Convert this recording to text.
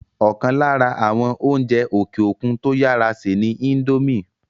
ọ̀kan lára àwọn oúnjẹ òkè òkun tó yàrá sè ni índómì